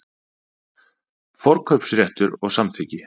Forkaupsréttur og samþykki.